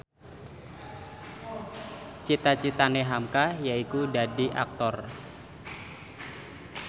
cita citane hamka yaiku dadi Aktor